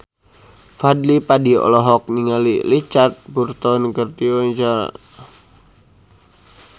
Fadly Padi olohok ningali Richard Burton keur diwawancara